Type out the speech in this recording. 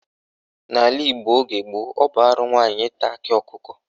N'ala Igbo oge gboo, ọ bụ arụ nwaanyị ịta akị ọkụkọ.